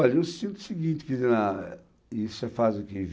Olha, eu sinto o seguinte, quer dizer, ah, isso é quase que